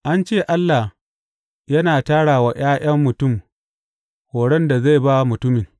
An ce Allah yana tara wa ’ya’yan mutum horon da zai ba mutumin.’